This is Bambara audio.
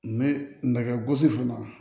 Ne nɛgɛ gosi fana